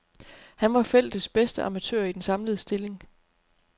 Han var feltets bedste amatør i den samlede stilling.